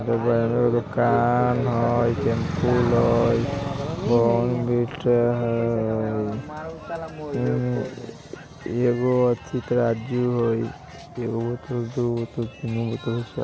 अब एगो एने दुकान हई शैम्पू हई बोर्नविटा हई अम्म एगो अथि तराजू हई एगो बोतल दूगो बोतल तीनगो बोतल चार --